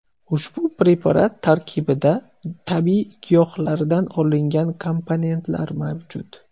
Ushbu preparat tarkibida tabiiy giyohlardan olingan komponentlar mavjud.